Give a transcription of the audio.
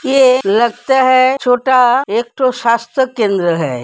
ये लगता है छोटा एक ठो शास्त केंद्र है।